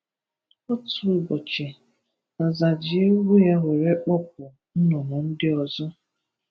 Otu ụbọchị, Nza ji egwu ya were kpọpụ nnụnụ ndị ọzọ.